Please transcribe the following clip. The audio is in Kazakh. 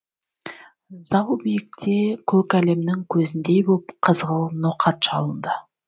зау биікте көк әлемнің көзіндей боп қызғылт ноқат шалынды